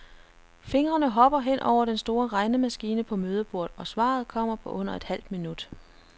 Fingrene hopper hen over den store regnemaskine på mødebordet, og svaret kommer på under et halvt minut.